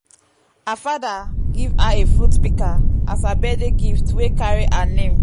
her fada give her a fruit pika as her birthday gift wey carry her name